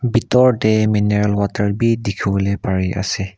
bitor te mineral water bi dikhiwole pare ase.